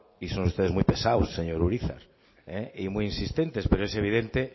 y son ustedes muy pesados señor urizar y muy insistentes pero es evidente